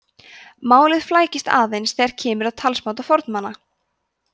málið flækist aðeins þegar kemur að talsmáta fornmanna